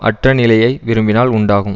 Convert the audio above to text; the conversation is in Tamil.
அற்ற நிலையை விரும்பினால் உண்டாகும்